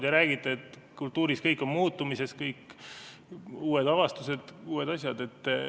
Te räägite, et kultuuris on kõik muutumises, on uued avastused, uued asjad.